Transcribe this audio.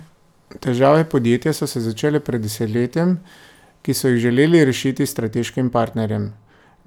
Težave podjetja so se začele pred desetletjem, ki so jih želeli rešiti s strateškim partnerjem.